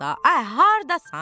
Ay hardasan?